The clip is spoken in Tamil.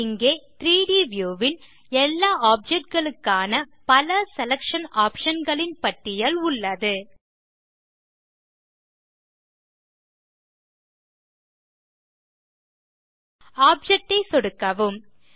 இங்கே 3ட் வியூ ன் எல்லா ஆப்ஜெக்ட் களுக்கான பல செலக்ஷன் ஆப்ஷன் களின் பட்டியல் உள்ளது ஆப்ஜெக்ட் ஐ சொடுக்கவும்